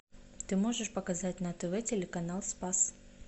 ты можешь показать на тв телеканал спас